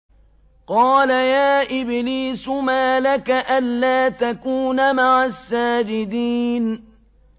قَالَ يَا إِبْلِيسُ مَا لَكَ أَلَّا تَكُونَ مَعَ السَّاجِدِينَ